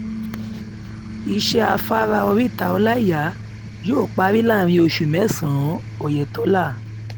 iṣẹ́ afárá oríta ọláíyà yóò parí láàárín oṣù mẹ́sàn-án ọ̀yẹ̀tọ́lá